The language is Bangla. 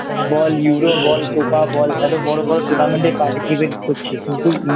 বল Euro বল Copa বল এত বড় বড় Tournament এ Participate করছে কিন্তু